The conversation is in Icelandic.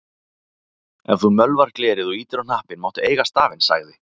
Ef þú mölvar glerið og ýtir á hnappinn máttu eiga stafinn, sagði